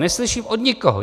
Neslyším od nikoho.